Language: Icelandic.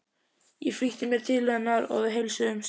Ég flýtti mér til hennar og við heilsuðumst.